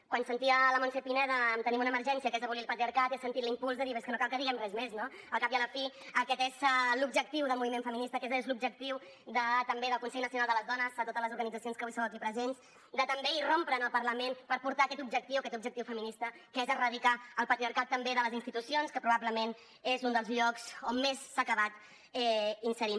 quan sentia la montse pineda dient tenim una emergència que és abolir el patriarcat he sentit l’impuls de dir és que no cal que diguem res més no al cap i a la fi aquest és l’objectiu del moviment feminista aquest és l’objectiu també del consell nacional de les dones de totes les organitzacions que avui sou aquí presents de també irrompre en el parlament per portar aquest objectiu aquest objectiu feminista que és erradicar el patriarcat també de les institucions que probablement és un dels llocs on més s’ha acabat inserint